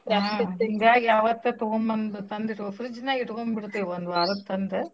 ಹಿಂಗಾಗಿ ಅವತ್ತ ತೊಗೊಂಬಂದ್ ತಂದ್ ಇಟ್ಗೊ fridge ನ್ಯಾಗ್ ಇಟ್ಗೋಂಬಿಡ್ತೀವ್ ಒಂದ್ ವಾರದ್ ತಂದ್.